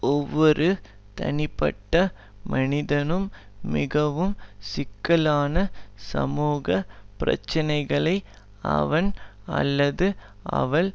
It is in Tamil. ஒவ்வொரு தனிப்பட்ட மனிதனும் மிகவும் சிக்கலான சமூக பிரச்சனைகளை அவன் அல்லது அவள்